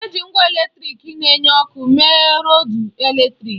Eji ngwa eletrịk na-enye ọkụ mee rọdu eletrịk.